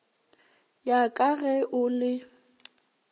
ya ka ge o le